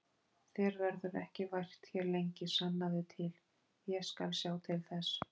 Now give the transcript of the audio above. Þér verður ekki vært hér lengi, sannaðu til, ég skal sjá til þess